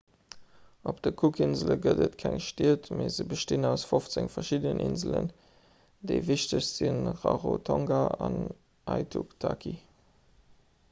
op de cookinsele gëtt et keng stied mee se bestinn aus 15 verschiddenen inselen déi wichtegst si rarotonga an aitutaki